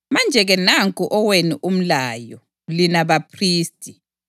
“Manje-ke nanku owenu umlayo, lina baphristi.